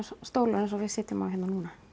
stólar eins og við sitjum á hérna núna